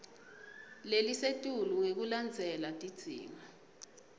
lelisetulu ngekulandzela tidzingo